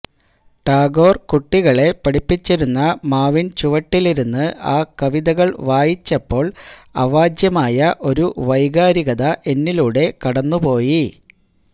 ടാഗോർ കുട്ടികളെ പഠിപ്പിച്ചിരുന്ന മാവിൻചുവട്ടിലിരുന്ന് ആ കവിതകൾ വായിച്ചപ്പോൾ അവാച്യമായ ഒരു വൈകാരികത എന്നിലൂടെ കടന്നുപോയി